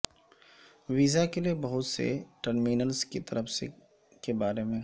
visa کے لئے بہت سے ٹرمینلز کی طرف سے کے بارے میں